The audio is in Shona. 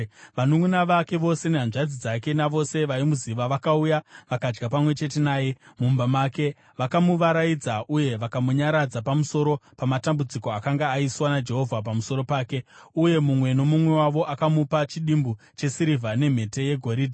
Vanunʼuna vake vose nehanzvadzi dzake navose vaimuziva vakauya vakadya pamwe chete naye mumba make. Vakamuvaraidza uye vakamunyaradza pamusoro pamatambudziko akanga aiswa naJehovha pamusoro pake, uye mumwe nomumwe wavo akamupa chidimbu chesirivha nemhete yegoridhe.